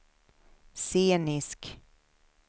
scenisk